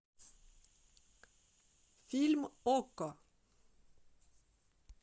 фильм окко